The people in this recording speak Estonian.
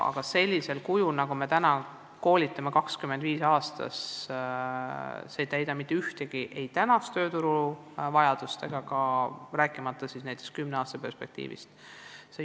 Aga me koolitame 25 logopeedi aastas ja see ei täida praegustki tööturu vajadust, rääkimata siis kümne aasta perspektiivist.